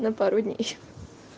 на пару дней